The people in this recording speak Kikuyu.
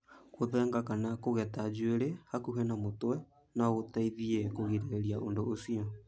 Gũthenga kana kũgeta njuĩrĩ hakuhĩ na mũtwe no gũteithie kũgirĩrĩria ũndũ ũcio.